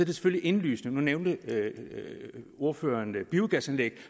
det selvfølgelig indlysende nu nævnte ordføreren biogasanlæg at